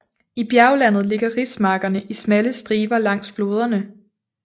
I bjerglandet ligger rismarkerne i smalle striber langs floderne